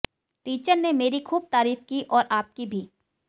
teacher ने मेरी खूब तारीफ की और आपकी भी